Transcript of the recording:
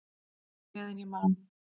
Meðan ég man!